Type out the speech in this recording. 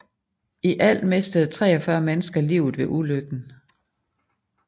I alt mistede 43 mennesker livet ved ulykken